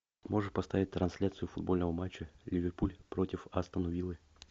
можешь поставить трансляцию футбольного матча ливерпуль против астон виллы